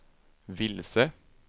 vilse